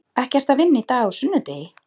Ekki ertu að vinna í dag, á sunnudegi?